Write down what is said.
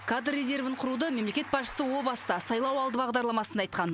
кадр резервін құруды мемлекет басшысы о баста сайлауалды бағдарламасында айтқан